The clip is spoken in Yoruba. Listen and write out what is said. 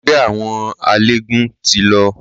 Ẹgbẹ́ àwọn eléegún ti lọ.